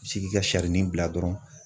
Bi se k'i ka sarinin bila dɔrɔn.